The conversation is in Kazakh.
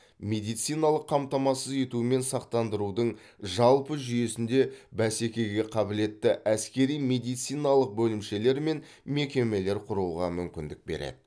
медициналық қамтамасыз ету мен сақтандырудың жалпы жүйесінде бәсекеге қабілетті әскери медициналық бөлімшелер мен мекемелер құруға мүмкіндік береді